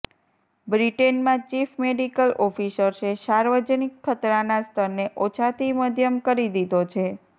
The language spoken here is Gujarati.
બ્રિટેનમાં ચીફ મેડિકલ ઑફિસર્સે સાર્વજનિક ખતરાના સ્તરને ઓછાથી મધ્યમ કરી દીધો છે